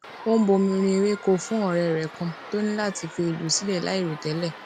ó ń bomi rin àwọn ewéko fún òré rè kan tó ní láti fi ìlú sílè láìròtélè